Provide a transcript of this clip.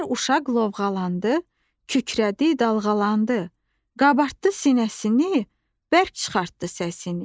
Bir uşaq lovğalandı, kükrədi, dalğalandı, qabartdı sinəsini, bərk çıxartdı səsini.